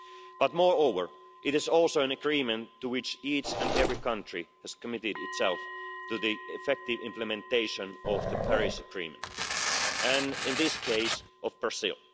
But, moreover, it is also an agreement in which each and every country has committed itself to the effective implementation of the Paris Agreement and, in this case, of Brazil.